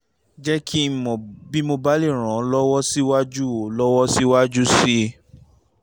jẹ́ kí n mọ̀ bí mo bá lè ràn ọ́ lọ́wọ́ síwájú ọ́ lọ́wọ́ síwájú sí i